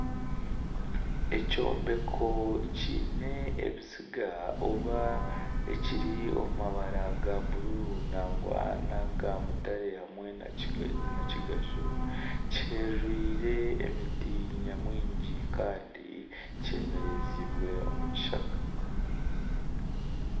Ekyombeko kiine ebiziga oba ekiri omu mabara ga bururu nangwa naga mutare hamwe na kigaju kiheririre emiti nyamwingi Kandi kyemerezibwe omu kishaka.